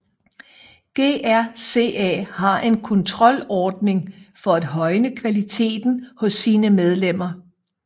GRCA har en kontrolordning for at højne kvaliteten hos sine medlemmer